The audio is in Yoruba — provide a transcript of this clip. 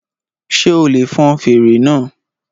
Ṣé o lè fọn fèrè náà?